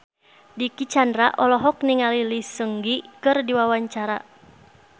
Dicky Chandra olohok ningali Lee Seung Gi keur diwawancara